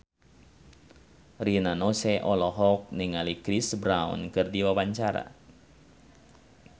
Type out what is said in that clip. Rina Nose olohok ningali Chris Brown keur diwawancara